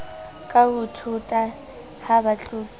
ka thota ha ba tlolela